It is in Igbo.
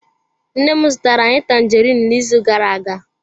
Nne m zụtara anyị tanjeriin n'izuụka gara-aga.